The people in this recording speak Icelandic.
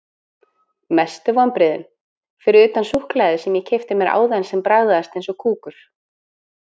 Mestu vonbrigðin: Fyrir utan súkkulaðið sem ég keypti mér áðan sem bragðaðist eins og kúkur.